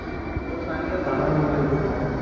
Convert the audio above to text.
तो सांगेल